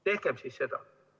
Tehkem siis seda!